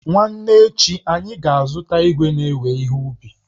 Nwanne echi, anyị ga-azụta igwe na-ewe ihe ubi